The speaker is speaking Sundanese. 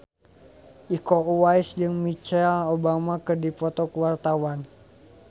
Iko Uwais jeung Michelle Obama keur dipoto ku wartawan